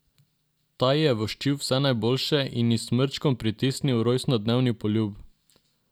Ta ji je voščil vse najboljše in ji s smrčkom pritisnil rojstnodnevni poljub.